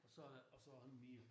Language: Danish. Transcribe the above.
Og så og så ingen mere